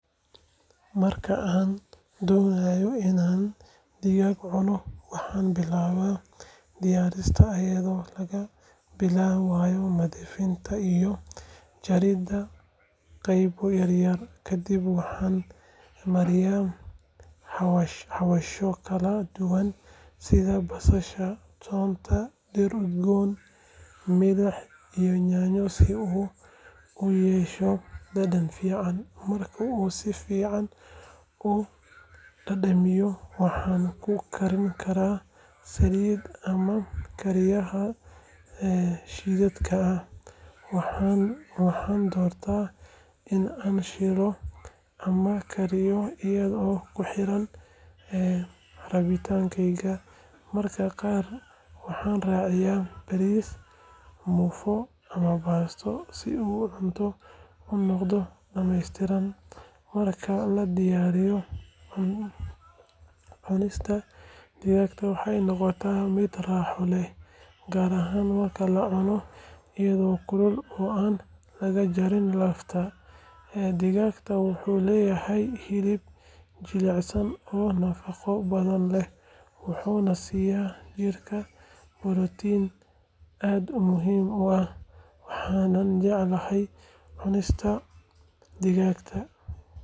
Marka aan doonayo in aan digaag cuno, waxaan billaabaa diyaarintiisa iyadoo laga bilaabayo nadiifinta iyo jaridda qaybo yaryar. Kadib waxaan mariyaa xawaashyo kala duwan sida basasha, toonta, dhir udgoon, milix iyo yaanyo si uu u yeesho dhadhan fiican. Marka uu si fiican u dhadhamiyo, waxaan ku karin karaa saliid ama kariyaha shidaalka ah, waxaana doortaa in aan shiilo ama kariyo iyadoo ku xiran rabitaankeyga. Mararka qaar waxaan raaciyaa bariis, muufo ama baasto si uu cunto u noqdo dhammaystiran. Marka la diyaariyo, cunista digaaga waxay noqotaa mid raaxo leh, gaar ahaan marka la cuno iyadoo kulul oo aan laga jarin lafta. Digaagu wuxuu leeyahay hilib jilicsan oo nafaqo badan leh wuxuuna siinayaa jirka borotiin aad u muhiim ah. Waxaan jeclahay cunista digaaga.